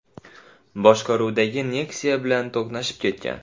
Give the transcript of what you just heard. boshqaruvidagi Nexia bilan to‘qnashib ketgan.